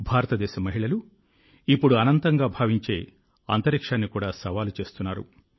భారతదేశ అమ్మాయిలు ఇప్పుడు అనంతంగా భావించే అంతరిక్షాన్ని కూడా సవాలు చేస్తున్నారు